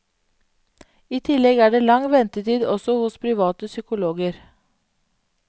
I tillegg er det lang ventetid også hos private psykologer.